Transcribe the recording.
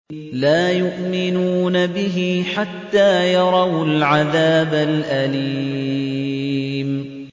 لَا يُؤْمِنُونَ بِهِ حَتَّىٰ يَرَوُا الْعَذَابَ الْأَلِيمَ